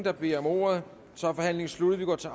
har bedt om ordet så er forhandlingen sluttet vi går til